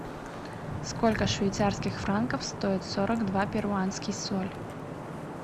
сколько швейцарских франков стоит сорок два перуанский соль